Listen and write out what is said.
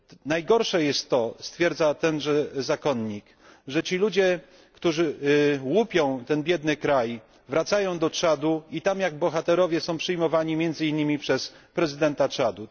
Najgorsze jest to stwierdza tenże zakonnik że ci ludzie, którzy łupią ten biedny kraj, wracają do Czadu i tam jak bohaterowie są przyjmowani między innymi przez prezydenta Czadu.